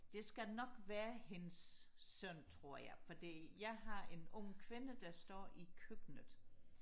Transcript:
det skal nok være hendes søn tror jeg fordi jeg har en ung kvinde der står i køkkenet